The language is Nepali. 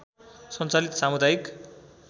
सञ्चालित सामुदायिक